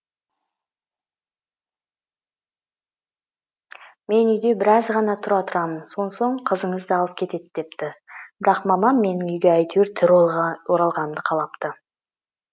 мен үйде біраз ғана тұра тұрамын сонсоң қызыңызды алып кетеді депті бірақ мамам менің үйге әйтеуір тірі оралғанымды қалапты